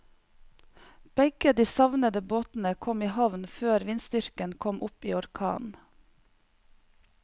Begge de savnede båtene kom i havn før vindstyrken kom opp i orkan.